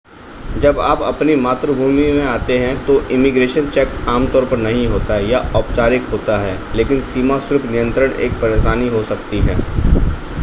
जब आप अपनी मातृभूमि में आते हैं तो इमिग्रेशन चेक आमतौर पर नहीं होता या औपचारिक होता है लेकिन सीमा शुल्क नियंत्रण एक परेशानी हो सकती है